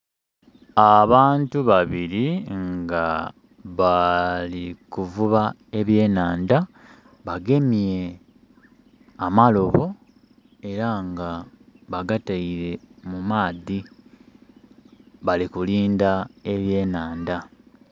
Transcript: Abantu babiri nga balikuvuba ebyenandha bagemye amalobo era nga bagateire mu maadhi, bali kulindha ebyenandha.